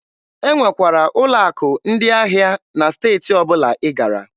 E nwekwara ụlọ akụ ndị ahịa na steeti ọbụla ị gara.